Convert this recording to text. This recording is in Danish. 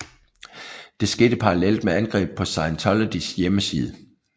Det skete parallelt med angreb på Scientologys hjemmeside